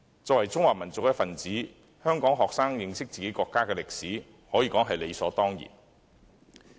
作為中華民族一分子，香港學生認識自己國家的歷史，可說是理所當然的。